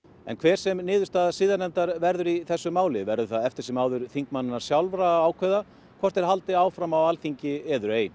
en hver sem niðurstaða siðanefndar verður í þessu máli verður það eftir sem áður þingmannanna sjálfra að ákveða hvort þeir haldi áfram á Alþingi eður ei